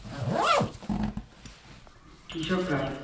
কৃষকরা